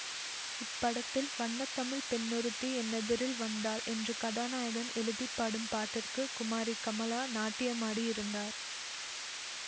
இப்படத்தில் வண்ணத்தமிழ்ப் பெண்ணொருத்தி என்னெதிரில் வந்தாள் என்று கதாநாயகன் எழுதி பாடும் பாட்டிற்கு குமாரி கமலா நாட்டியமாடி இருந்தார்